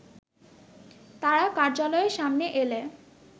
তারা কার্যালয়ের সামনে এলে